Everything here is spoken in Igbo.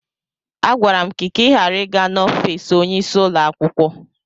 Agwara m gị ka ị ghara ị gaa n'ọfis onyeisi ụlọakwụkwọ!